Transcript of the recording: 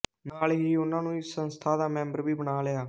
ਨਾਲ ਹੀ ਉਹਨਾਂ ਨੂੰ ਇਸ ਸੰਸਥਾ ਦਾ ਮੈਂਬਰ ਵੀ ਬਣਾ ਲਿਆ